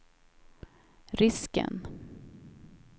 risken